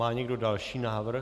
Má někdo další návrh?